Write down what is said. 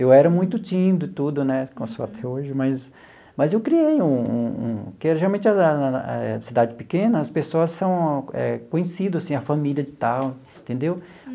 Eu era muito tímido e tudo né, como sou até hoje, mas mas eu criei um um um, porque realmente na na na eh na cidade pequena as pessoas são eh conhecidas, assim, a família de tal, entendeu?